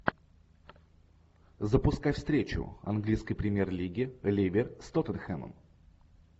запускай встречу английской премьер лиги ливер с тоттенхэмом